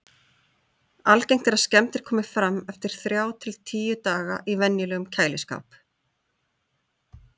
Algengt er að skemmdir komi fram eftir þrjá til tíu daga í venjulegum kæliskáp.